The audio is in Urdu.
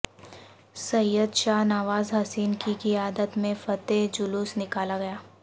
سید شاہ نواز حسین کی قیادت میں فتح جلو س نکالاگیا